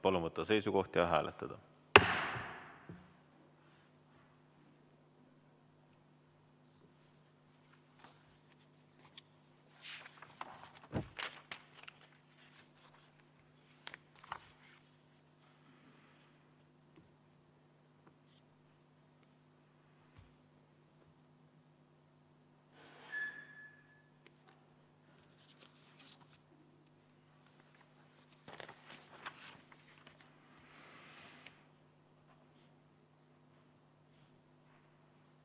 Palun võtta seisukoht ja hääletada!